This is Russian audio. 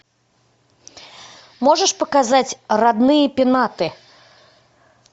можешь показать родные пенаты